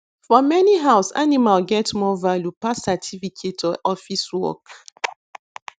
for many house animal get more value pass certificate or office work